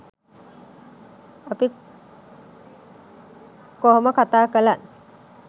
අපි කොහොම කතා කළත්